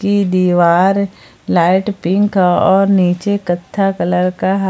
की दीवार light pink और नीचे कत्था कलर का--